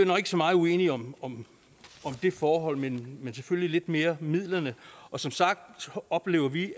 nok ikke så meget uenige om om det forhold men selvfølgelig lidt om mere midlerne og som sagt oplever vi